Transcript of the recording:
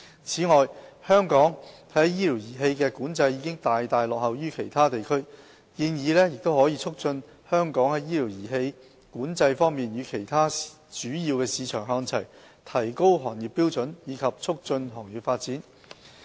此外，香港在醫療儀器的管制已大大落後於其他地區，建議可促使香港在醫療儀器管制方面與其他主要市場看齊，提高行業標準及促進行業發展。